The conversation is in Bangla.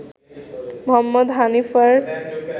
মোহাম্মদ হানিফার